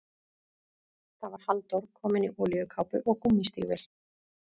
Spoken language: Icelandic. Það var Halldór, kominn í olíukápu og gúmmístígvél.